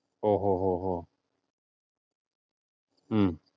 ഓഹ് ഓഹ് ഓഹ് ഓഹ് ഹും